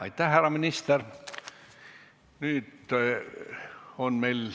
Aitäh, härra minister!